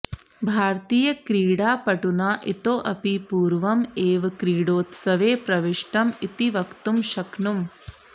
भारतीयक्रीडापटुना इतोऽपि पूर्वम् एव क्रीडोत्सवे प्रविष्टम् इति वक्तुं शक्नुमः